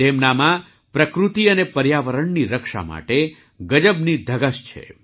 તેમનામાં પ્રકૃતિ અને પર્યાવરણની રક્ષા માટે ગજબની ધગશ છે